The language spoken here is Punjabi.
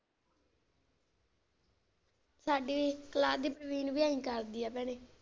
ਸਾਡੀ ਕਲਾਸ ਦੀ ਪ੍ਰਵੀਨ ਵੀ ਐਂ ਹੀ ਕਰਦੀ ਆ ਭੈਣੇ।